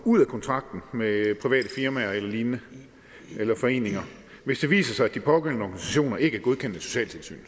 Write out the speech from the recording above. ud af kontrakten med private firmaer eller lignende eller foreninger hvis det viser sig at pågældende organisationer ikke er godkendt af socialtilsynet